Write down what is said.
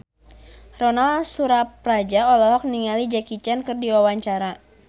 Ronal Surapradja olohok ningali Jackie Chan keur diwawancara